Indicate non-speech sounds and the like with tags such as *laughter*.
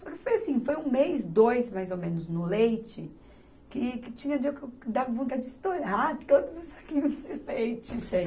Só que foi assim, foi um mês, dois mais ou menos no leite, que, que tinha dia que eu dava vontade de estourar todos os saquinhos de leite. *laughs*